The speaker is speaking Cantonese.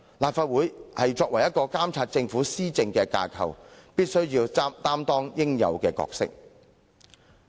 立法會作為監察政府施政的架構，必須擔當應有的角色。